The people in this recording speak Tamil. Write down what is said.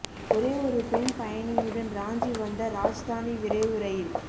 ஒரே ஒரு பெண் பயணியுடன் ராஞ்சி வந்த ராஜ்தானி விரைவு ரயில்